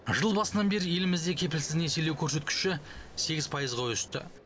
жыл басынан бері елімізде кепілсіз несиелеу көрсеткіші сегіз пайызға өсті